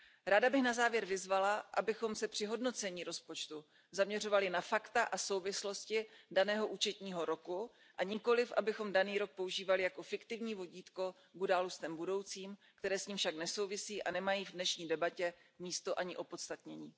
Ráda bych na závěr vyzvala, abychom se při hodnocení rozpočtu zaměřovali na fakta a souvislosti daného účetního roku, a nikoliv abychom daný rok používali jako fiktivní vodítko k událostem budoucím, které s ním však nesouvisí a nemají v dnešní debatě místo ani opodstatnění.